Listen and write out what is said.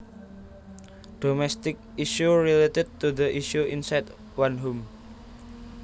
Domestic issues related to the issues inside one home